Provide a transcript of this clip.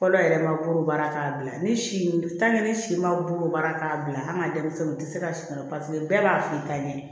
Fɔlɔ yɛrɛ ma bolo baara k'a bila ni si si ma bolo baara k'a bila an ka denmisɛnninw u tɛ se ka siran paseke bɛɛ b'a f'i ka ɲɛ